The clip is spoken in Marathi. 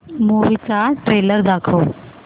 मूवी चा ट्रेलर चालव